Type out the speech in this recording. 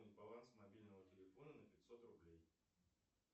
баланс мобильного телефона на пятьсот рублей